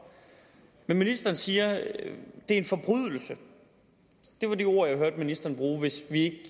men ministeren siger det er en forbrydelse det var de ord jeg hørte ministeren bruge hvis vi ikke